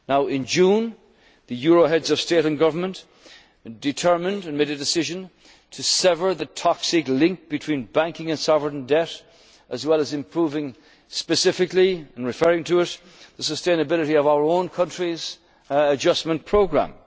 in the time ahead. In June 2012, the euro area Heads of State and Government determined and made a decision to sever the toxic link between banking and sovereign debt as well as improving specifically, and referring to it, the sustainability of our own country's